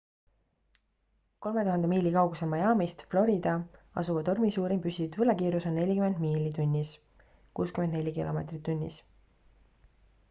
3000 miili kaugusel miamist florida asuva tormi suurim püsiv tuulekiirus on 40 miili tunnis 64 km/h